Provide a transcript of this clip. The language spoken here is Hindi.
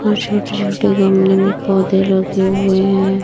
और छोटे छोटे गमले में पौधे लगे हुए हैं।